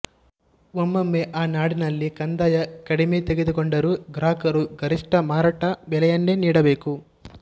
ಒಮ್ಮೊಮ್ಮೆ ಆ ನಾಡಿನಲ್ಲಿ ಕಂದಾಯ ಕಡಿಮೆ ತೆಗೆದುಕೊಂಡರೂ ಗ್ರಾಹಕರು ಗರಿಷ್ಟ ಮಾರಾಟ ಬೆಲೆಯನ್ನೇ ನೀಡಬೇಕು